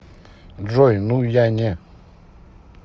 джой ну я не